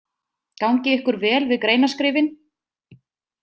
Gangi ykkur vel við greinaskrifin!